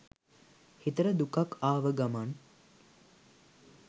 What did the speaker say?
හිතට දුකක් ආව ගමන්